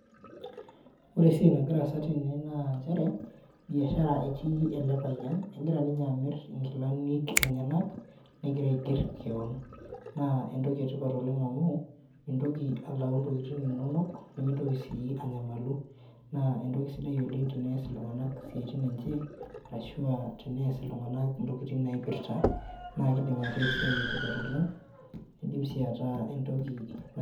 Ore esiai nagira aasa tene naa, nchere biashara etii ele payian, egira ninye amir inkilani enyenak negira aiger kewon. Naa, entoki etipat oleng amu, mitoki alau intokitin inonok nimitoki sii anyamalu naa entoki sidai oleng tenaas iltunganak isiaitim enye, ashua teneas iltunganak intokitin naipirta, naa kidim ataa esiai etipat oleng naa kidim sii ataa etoki.